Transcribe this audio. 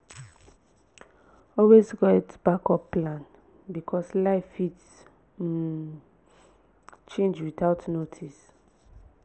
always get backup plan because life fit um change without notice